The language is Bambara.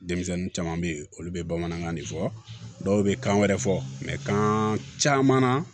Denmisɛnnin caman bɛ yen olu bɛ bamanankan de fɔ dɔw bɛ kan wɛrɛ fɔ mɛkan caman na